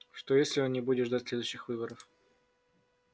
что если он не будет ждать следующих выборов